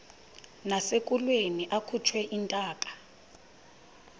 nasekulweni akhutshwe intaka